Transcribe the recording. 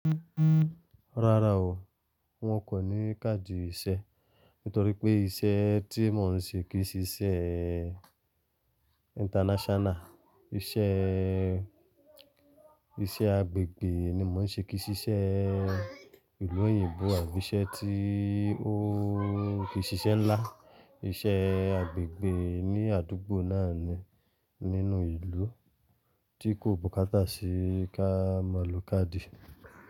Rárá o, wọn kò ní káàdì ìṣe nítorí pé iṣẹ́ tí mò ń ṣe kì í ṣíṣe international. Íṣẹ́, ìṣe agbègbè ni mò ń ṣe kì í ṣíṣe ìlú òyìnbó àbí iṣẹ́ tí ó kì í ṣiṣẹ́ ńlá. Iṣẹ́ agbègbè ni àdúgbò náà ni nínú ìlú tí kò bùkátà sí ká mọ̀lú káàdì.